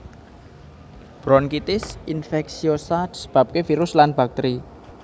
Bronkitis infeksiosa disebabke virus lan bakteri